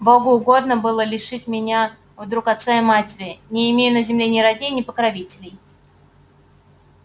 богу угодно было лишить меня вдруг отца и матери не имею на земле ни родни ни покровителей